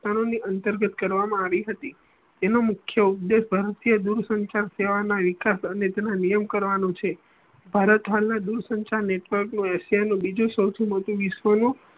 અંતર્કગત કરવામાં આવી હતી એનો મુખ્ય ઉપદેશ ભારતીય દુર સંસાર સેવા ના વિકાસ અને તેના નિયમ કરવાનું છે ભારત હાલના દુર સંસાર network નું એશિયા નું બીજું સૌ થી મોટો વિશ્વ નું